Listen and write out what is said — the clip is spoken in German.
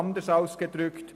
Anders ausgedrückt: